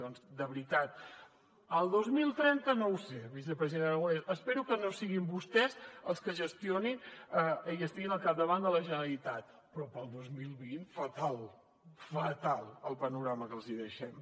doncs de veritat el dos mil trenta no ho sé vicepresident aragonès espero que no siguin vostès els que gestionin i estiguin al capdavant de la generalitat però per al dos mil vint fatal fatal el panorama que els hi deixem